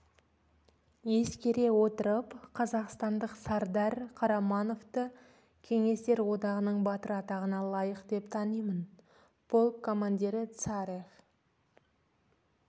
ескере отырып қазақстандық сардар қарамановты кеңестер одағының батыры атағына лайық деп танимын полк командирі царев